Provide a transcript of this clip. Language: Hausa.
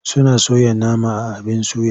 Suna soya nama a abin suya.